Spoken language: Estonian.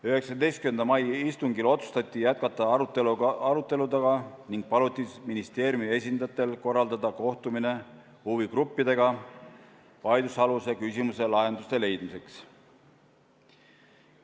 19. mai istungil otsustati arutelu jätkata ning paluti ministeeriumi esindajatel korraldada kohtumine huvigruppidega vaidlusaluse küsimuse lahenduste leidmiseks.